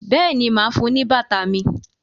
béèni má fún ní bàtà mí.